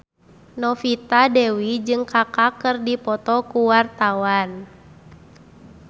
Novita Dewi jeung Kaka keur dipoto ku wartawan